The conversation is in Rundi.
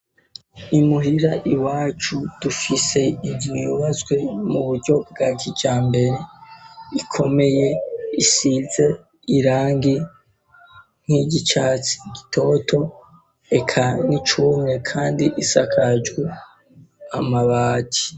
I muhira iwacu dufise inzu yubatswe mu buryo bwa kijambere, ikomeye isize irangi nk'iryicatsi gitoto, eka n'icumye, kandi isakaje amabati.